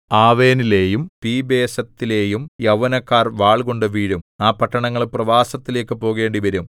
ആവെനിലെയും പിബേസെത്തിലെയും യൗവനക്കാർ വാൾകൊണ്ടു വീഴും ആ പട്ടണങ്ങൾ പ്രവാസത്തിലേക്കു പോകേണ്ടിവരും